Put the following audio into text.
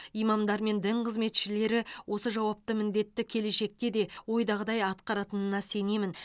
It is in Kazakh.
имамдар мен дін қызметшілері осы жауапты міндетті келешекте де ойдағыдай атқаратынына сенемін